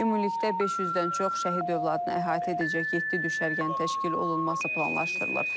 Ümumilikdə 500-dən çox şəhid övladını əhatə edəcək yeddi düşərgənin təşkil olunması planlaşdırılır.